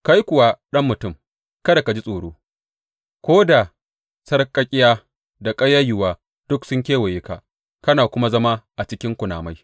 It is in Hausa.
Kai kuwa, ɗan mutum, kada ka ji tsoro, ko da sarƙaƙƙiya da ƙayayyuwa duk sun kewaye ka kana kuma zama a cikin kunamai.